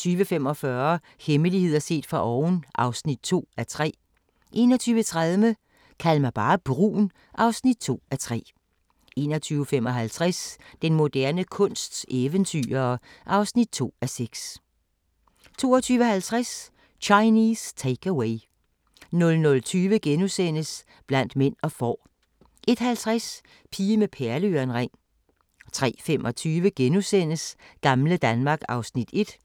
20:45: Hemmeligheder set fra oven (2:3) 21:30: Kald mig bare brun (2:3) 21:55: Den moderne kunsts eventyrere (2:6) 22:50: Chinese Take-Away 00:20: Blandt mænd og får * 01:50: Pige med perleørering 03:25: Gamle Danmark (Afs. 1)*